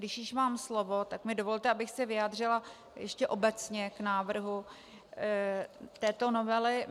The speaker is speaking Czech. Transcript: Když už mám slovo, tak mi dovolte, abych se vyjádřila ještě obecně k návrhu této novely.